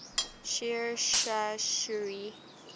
sher shah suri